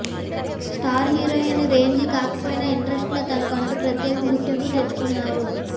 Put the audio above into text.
star heroine range కాకపోయినా ఇండస్ట్రీలో తనకంటూ ప్రత్యేక గుర్తింపు తెచ్చుకున్నారు